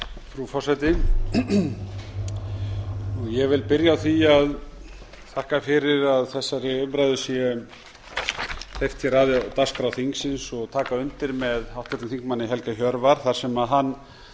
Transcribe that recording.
frú forseti ég vil byrja á því að þakka fyrri að þessari umræðu sé hleypt hér að á dagskrá þingsins og taka undir með háttvirtum þingmanni helga hjörvar þar sem hann